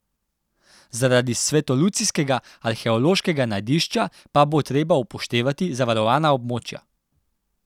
Zaradi svetolucijskega arheološkega najdišča pa bo treba upoštevati zavarovana območja.